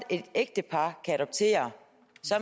et ægtepar kan adoptere